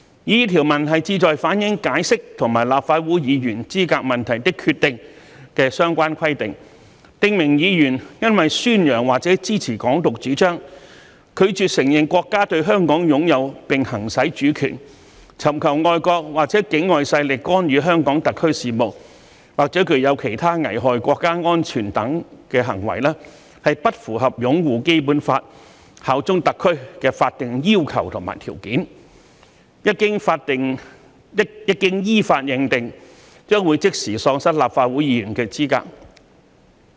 擬議條文旨在反映《解釋》和《立法會議員資格問題的決定》的相關規定，訂明議員若因宣揚或者支持"港獨"主張、拒絕承認國家對香港擁有並行使主權、尋求外國或境外勢力干預香港特區事務，或具有其他危害國家安全等行為，而不符合"擁護《基本法》、效忠特區"的法定要求和條件，一經依法認定，將即時喪失立法會議員的資格。